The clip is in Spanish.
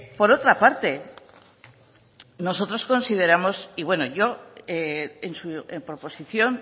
por otra parte nosotros consideramos y bueno en su proposición